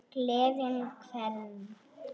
Gleðja hvern?